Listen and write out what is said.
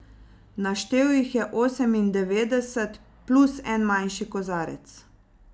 Naštel jih je osemindevetdeset, plus en manjši kozarec.